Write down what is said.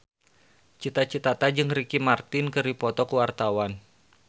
Cita Citata jeung Ricky Martin keur dipoto ku wartawan